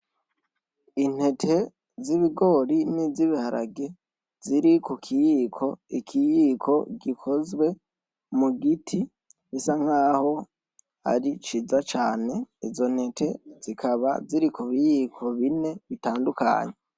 Intete z'ibigori n'izibiharage ziri ku kiyiko, ikiyiko gikozwe mu giti bisa nkaho ari ciza cane, izo ntete zikaba ziri ku biyiko bine bitandukanye.